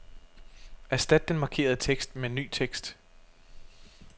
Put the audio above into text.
Erstat den markerede tekst med ny tekst.